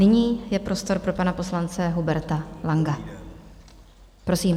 Nyní je prostor pro pana poslance Huberta Langa, prosím.